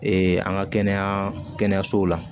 an ka kɛnɛya kɛnɛyasow la